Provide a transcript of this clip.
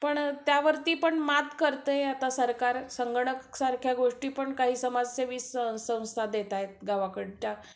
पण त्यावरती पण आता मात करतंय सरकार, संगणक सारख्या गोष्टी पण काही समाजसेवी संस्था देत आहेत गावाकडच्या